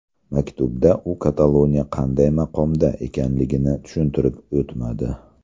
Maktubda u Kataloniya qanday maqomda ekanligini tushuntirib o‘tmadi.